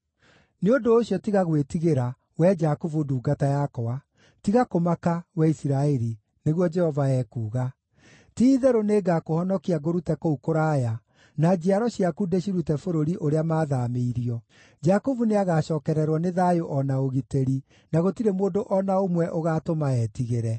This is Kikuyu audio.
“ ‘Nĩ ũndũ ũcio tiga gwĩtigĩra, wee Jakubu ndungata yakwa; tiga kũmaka, wee Isiraeli,’ nĩguo Jehova ekuuga. ‘Ti-itherũ nĩngakũhonokia ngũrute kũu kũraya, na njiaro ciaku ndĩcirute bũrũri ũrĩa maathaamĩirio. Jakubu nĩagacookererwo nĩ thayũ o na ũgitĩri, na gũtirĩ mũndũ o na ũmwe ũgaatũma etigĩre.